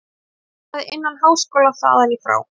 Hann starfaði innan háskóla þaðan í frá.